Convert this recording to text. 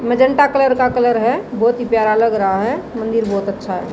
Magenta colour का colour है बहुत ही प्यारा लग रहा है मंदिर बहुत अच्छा है।